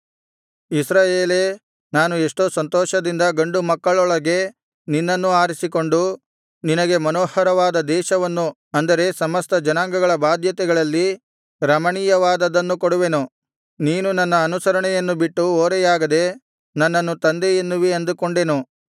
ಇಸ್ರಾಯೇಲೇ ನಾನು ಎಷ್ಟೋ ಸಂತೋಷದಿಂದ ಗಂಡು ಮಕ್ಕಳೊಳಗೆ ನಿನ್ನನ್ನೂ ಆರಿಸಿಕೊಂಡು ನಿನಗೆ ಮನೋಹರವಾದ ದೇಶವನ್ನು ಅಂದರೆ ಸಮಸ್ತ ಜನಾಂಗಗಳ ಬಾಧ್ಯತೆಗಳಲ್ಲಿ ರಮಣೀಯವಾದದ್ದನ್ನು ಕೊಡುವೆನು ನೀನು ನನ್ನ ಅನುಸರಣೆಯನ್ನು ಬಿಟ್ಟು ಓರೆಯಾಗದೆ ನನ್ನನ್ನು ತಂದೆ ಎನ್ನುವಿ ಅಂದುಕೊಂಡೆನು